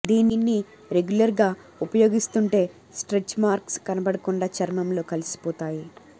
దీన్ని రెగ్యులర్ గా ఉపయోగిస్తుంటే స్ట్రెచ్ మార్క్స్ కనపడకుండా చర్మంలో కలిసిపోతాయి